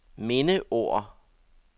mindeord